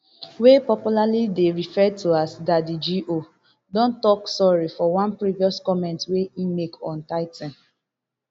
wey popularly dey referred to as daddy go don tok sorry for one previous comment wey e make on tithing